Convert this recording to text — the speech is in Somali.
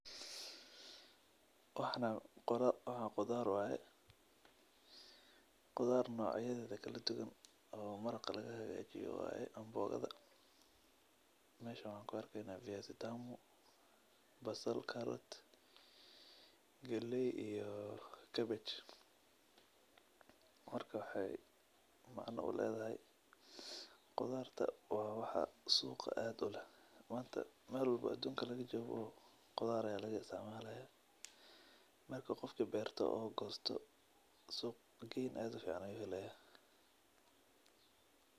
Waxan qudhar waye qudhar nocyadeda kala duwan oo marka lahagajiyo waye meshan waxan ku arki hayo maxa waye viazi tamu basal galey iyo kabeg marka waxee macna uledhahay qudharta waxaa waye wax suqa aas uleh manta adunka meel laga jogo qudhar aya laga isticmalo suq gen aad ufican ayu ka helaya.